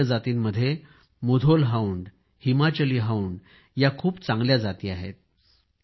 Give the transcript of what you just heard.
भारतीय जातीमध्ये मुधोल हाउंड आहे हिमाचली हाउंड या खूप चांगल्या जाती आहेत